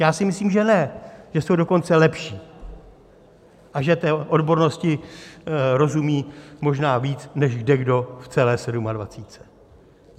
Já si myslím, že ne, že jsou dokonce lepší a že té odbornosti rozumí možná víc než kdekdo v celé sedmadvacítce.